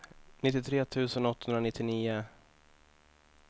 nittiotre tusen åttahundranittionio